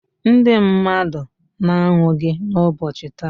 ndị mmadụ na-anwụ gị ụbọchị taa.